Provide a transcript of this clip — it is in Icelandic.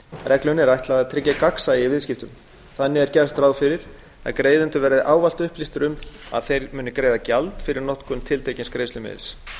reglunni er ætlað að tryggja gagnsæi í viðskiptum þannig er gert ráð fyrir að greiðendur verði ávallt upplýstir um að þeir muni greiða gjald fyrir notkun tiltekins greiðslumiðils